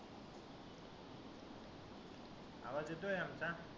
आवाज येतोय आमचा?